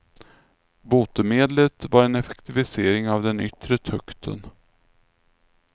Botemedlet var en effektivisering av den yttre tukten.